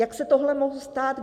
Jak se tohle mohlo stát?